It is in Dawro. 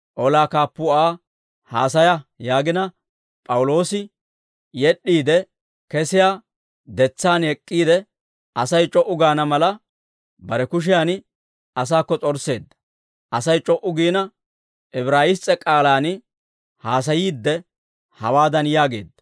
Olaa kaappuu Aa, «Haasaya» yaagina, P'awuloosi yed'd'iide kesiyaa detsaan ek'k'iide, Asay c'o"u gaana mala, bare kushiyan asaakko s'orsseedda. Asay c'o"u giina, Ibraayiss's'e k'aalaan haasayiidde, hawaadan yaageedda.